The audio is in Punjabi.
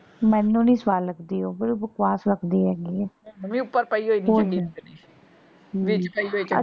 ਮੈਨੂੰ ਨੀ ਸਵਾਦ ਲੱਗਦੀ ਉਹ। ਬੜੀ ਬਕਵਾਸ ਲੱਗਦੀ ਹੈਗੀ ਏ।